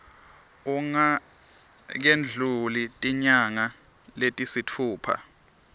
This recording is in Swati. kungakendluli tinyanga letisitfupha